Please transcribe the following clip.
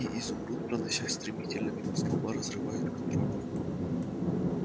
и изумруд проносясь стремительно мимо столба разрывает контрольную